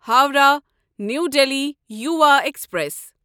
Howrah new Delhi Yuva express